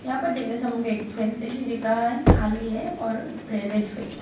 यहां पर दिन में समय का एक स्टेशन दिख रहा है खाली है और रेलवे ट्रैक है।